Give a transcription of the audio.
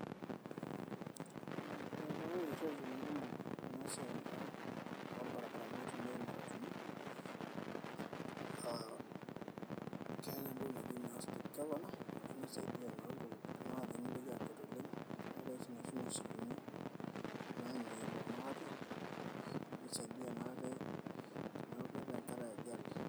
ee etipikaki irreteni kumok ena siai naa orbarabarani itumiae imatatuni aa keetay entoki naji naa speed governor naa ninye naisaidia naa iltung'anak pee mitoki aakwet oleng eetay sii inoshi moshipini naenie iltung'anak ate ashu isaidia naa ate teneeku keetay enkata e ajali.